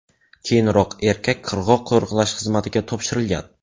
Keyinroq erkak qirg‘oq qo‘riqlash xizmatiga topshirilgan.